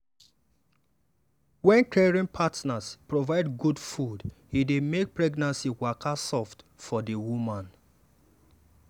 wen caring partners provide good food e dey make pregnancy waka soft for the woman.